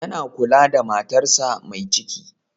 Yana kula da matarsa mai ciki.